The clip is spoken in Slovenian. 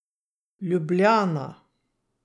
Ljubljana.